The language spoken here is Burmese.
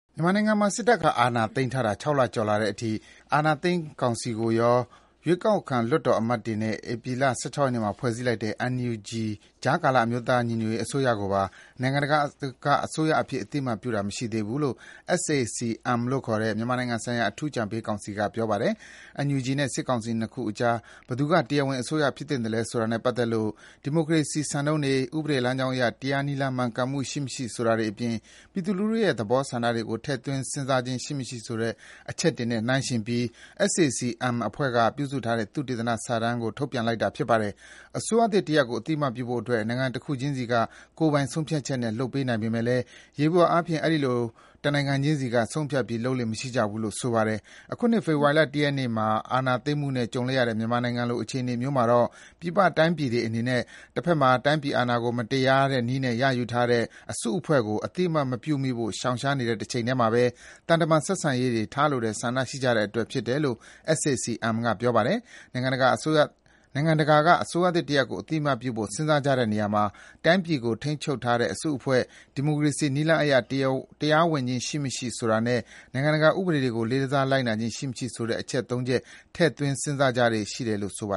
မြန်မာနိုင်ငံမှာ စစ်တပ်က အာဏာသိမ်းထားတာ ၆ လကျော် ကြာလာတဲ့အထိ အာဏာသိမ်းစစ်ကောင်စီကိုရော ရွေးကောက်ခံ လွှတ်တော်အမတ်တွေနဲ့ ဧပြီလ ၁၆ ရက်နေ့မှာ ဖွဲ့စည်းလိုက်တဲ့ NUG ကြားကာလ အမျိုးသားညီညွတ်ရေးအစိုးရကိုပါ နိုင်ငံတကာက အစိုးရအဖြစ် အသိအမှတ်ပြုတာ မရှိသေးဘူးလို့ SAC-M လို့ခေါ်တဲ့ မြန်မာနိုင်ငံဆိုင်ရာ အထူးအကြံပေးကောင်စီက ပြောပါတယ်။ NUG နဲ့ စစ်ကောင်စီ ၂ ခုအကြား ဘယ်သူက တရားဝင်အစိုးရဖြစ်သင့်သလဲဆိုတာနဲ့ပတ်သက်လို့ ဒီမိုကရေစီ စံနှုန်းတွေ၊ ဥပဒေလမ်းကြောင်းအရ တရားနည်းလမ်း မှန်ကန်မှုရှိမရှိဆိုတာတွေအပြင် ပြည်သူလူထုရဲ့သဘောဆန္ဒကို ထည့်သွင်း စဉ်းစားခြင်း ရှိမရှိဆိုတဲ့ အချက်တွေနဲ့နှိုင်းယှဉ်ပြီး SAC-M အဖွဲ့က ပြုစုထားတဲ့ သုတေသနစာတမ်းကို ထုတ်ပြန်လိုက်တာပါ။ အစိုးရသစ်တရပ်ကို အသိအမှတ်ပြုဖို့ နိုင်ငံတခုချင်းစီက ကိုယ်ပိုင်ဆုံးဖြတ်ချက်နဲ့ ပြုလုပ်နိုင်ပေမယ့်လည်း ယျေဘုယအားဖြင့် အဲဒီလို တနိုင်ငံခြင်းစီက ဆုံးဖြတ်ပြီး လုပ်လေ့မရှိကြဘူးလို့ ဆိုပါတယ်။ အခုနှစ် ဖေဖော်ဝါရီလ ၁ ရက်နေ့မှာ အာဏာသိမ်းမှုနဲ့ ကြုံလိုက်ရတဲ့ မြန်မာနိုင်ငံလို အခြေအနေမျိုးမှာတော့ ပြည်ပတိုင်းပြည်တွေအနေနဲ့ တဘက်မှာ တိုင်းပြည် အာဏာကို မတရားတဲ့နည်းနဲ့ ရယူထားတဲ့ အစုအဖွဲ့ကို အသိအမှတ်မပြုမိဖို့ ရှောင်ရှားနေတဲ့ တချိန်တည်းမှာ သံတမန်ဆက်ဆံရေးတွေ ထားလိုတဲ့ဆန္ဒရှိနေကြတဲ့အတွက် ဖြစ်တယ်လို့ SAC-M က ပြောပါတယ်။ နိုင်ငံတကာက အစိုးရသစ်တရပ်ကို အသိအမှတ်ပြုဖို့ စဉ်းစားကြတဲ့နေရာမှာ တိုင်းပြည်ကို ထိန်းချုပ်ထားတဲ့အစုအဖွဲ့၊ ဒီမိုကရေစီနည်းလမ်းအရ တရားဝင်ခြင်း ရှိမရှိ ဆိုတာနဲ့ နိုင်ငံတကာဥပဒေတွေကို လေးစားလိုက်နာခြင်း ရှိမရှိ ဆိုတဲ့ အချက် (၃) ချက် ထည့်သွင်း စဉ်းစားကြလေ့ရှိတယ်လို့ ဆိုပါ